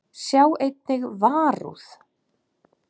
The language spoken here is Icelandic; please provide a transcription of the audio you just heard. Sjá einnig Varúð.